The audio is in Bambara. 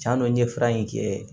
Tiɲan dɔ n ye fura in kɛ